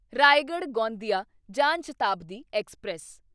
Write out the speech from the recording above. Raigarh Gondia Jan Shatabdi express